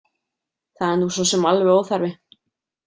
Það er nú sosum alveg óþarfi.